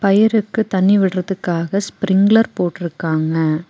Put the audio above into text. வேருக்கு தண்ணீர் விடுறதற்காக ஸ்ப்ரிங்லர் போட்டுருக்காங்க.